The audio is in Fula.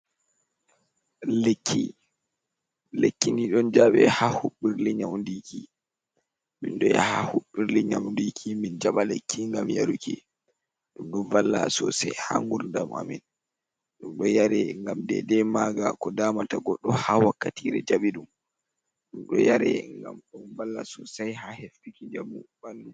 Lekkini ɗon jaɓe haa huɓɓirle nyawndiki, min ɗo yaha haa huɓbirle nyawndiki, min jaɓa lekki ngam yaruki, ɗum ɗon valla soosay haa ngurdam a min, ɗum ɗo yare ngam deydey maaga ko daamata goɗɗo, haa wakkatiire jaɓi ɗum. Ɗum ɗo yare ngam ɗon valla soosay, haa heftuki njamu ɓanndu.